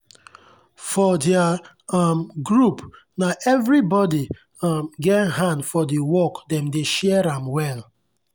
for their um group na everybody um get hand for the work dem dey share am well.